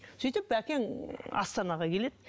сөйтіп бәкең астанаға келеді